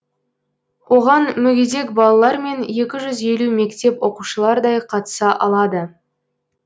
оған мүгедек балалар мен екі жүз елу мектеп оқушылардай қатыса алады